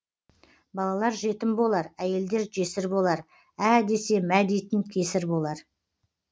балалар жетім болар әйелдер жесір болар ә десе мә дейтін кесір болар